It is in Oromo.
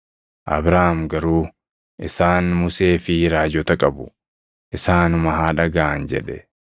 “Abrahaam garuu, ‘Isaan Musee fi raajota qabu; isaanuma haa dhagaʼan’ jedhe.